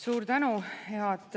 Suur tänu!